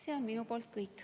See on kõik.